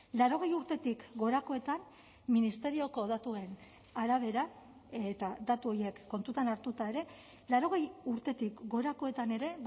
laurogei urtetik gorakoetan ministerioko datuen arabera eta datu horiek kontutan hartuta ere laurogei urtetik gorakoetan ere